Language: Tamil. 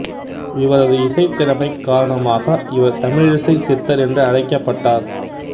இவரது இசைத்திறமை காரணமாக இவர் தமிழிசைச் சித்தர் என்று அழைக்கப்பட்டார்